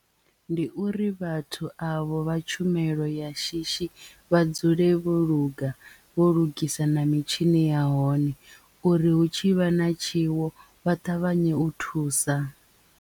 Ndi uri vhathu avho vha tshumelo ya shishi vha dzule vho luga vho lugisa na mitshini ya hone uri hu tshi vha na tshiwo vha ṱavhanye u thusa.